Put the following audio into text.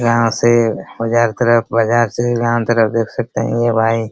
यहां से बाजार तरफ बाजार से गांव तरफ देख सकते हैं ये भाई --